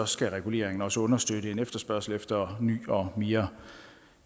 skal reguleringen også understøtte en efterspørgsel efter ny og mere